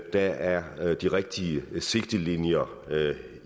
der er de rigtige sigtelinjer